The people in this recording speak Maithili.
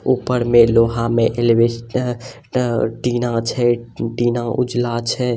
ऊपर में लोहा में एल एलवेस्टर टीना छै टीना उजला छै।